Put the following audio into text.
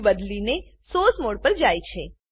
view બદલીને source mode પર જાય છે